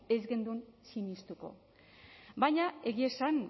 ez genuke sinestuko baina egia esan